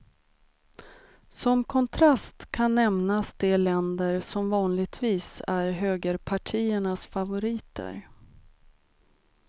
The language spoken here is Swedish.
Som kontrast kan nämnas de länder som vanligtvis är högerpartiernas favoriter.